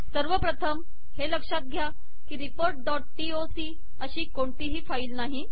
सर्वप्रथम हे लक्षात घ्या की रिपोर्ट डॉट टीओसी अशी कोणतीही फाईल नाही